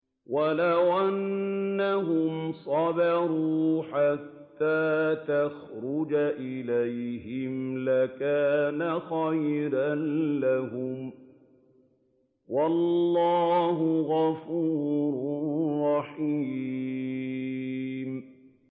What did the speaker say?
وَلَوْ أَنَّهُمْ صَبَرُوا حَتَّىٰ تَخْرُجَ إِلَيْهِمْ لَكَانَ خَيْرًا لَّهُمْ ۚ وَاللَّهُ غَفُورٌ رَّحِيمٌ